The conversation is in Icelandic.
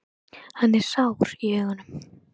Hann er sár í augunum.